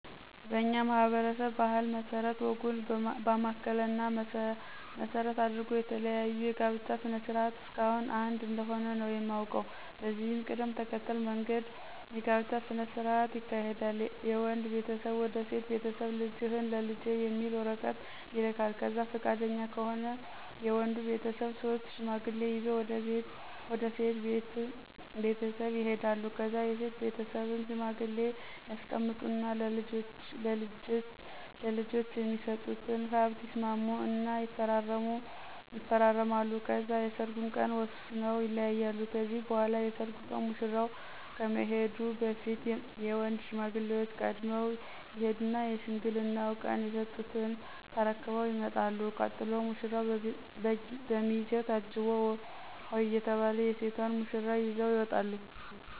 በኛ ማህበረሰብ ባህል መስረት ወጉን ባማከለ እና መሰረት አድርጎ የተለያዩ የጋብቻ ስነ ስርዓት እስካሁን አንድ እንደሆነ ነው የማውቀው። በዚህ ቅደም ተከተል መንገድ የጋብቻ ስነ ስርዓት ይካሄዳል የወንድ ቤተሰብ ወደ ሴት ቤተስብ ልጅህን ለልጄ የሚል ወረቀት ይልካል ከዛ ፍቃደኛ ከሆኑ የወድ ቤተሰብ ሶስት ሽማግሌ ይዞ ወደ ሴት ቤተሰብ ይሄዳሉ ከዛ የሴት ቤትስብም ሽማግሌ ያስቀምጡ እና ለልጄች የሚስጡትን ሀብት ይስማሙ እና ይፈራረማሉ ከዛ የሰርጉን ቀን ወስነው ይለያያሉ ከዚህ በኋላ የሰርጉ ቀን ሙሽራው ከመሄዱ በፊት የወንድ ሽማግሌዎች ቀድመው ይሄዱና የሽምግልናው ቀን የስጡትን ተርክበው ይመጣሉ ቀጥሎ ሙራው፣ በሚዜው ታጅቦ ሆሆ እየተባል የሴቷን ሙሽራ ይዘው ይመጣሉ።